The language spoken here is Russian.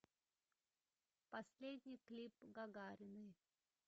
последний клип гагариной